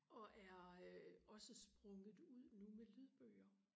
og er øh også sprunget ud nu med lydbøger